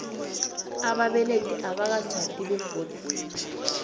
ababelethi abakatjhadi begodu